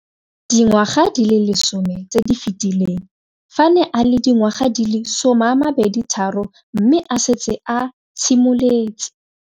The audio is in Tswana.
Dingwaga di le 10 tse di fetileng, fa a ne a le dingwaga di le 23 mme a setse a itshimoletse.